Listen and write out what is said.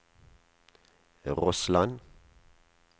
Rossland